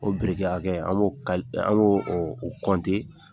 O biriki hakɛ, an b' o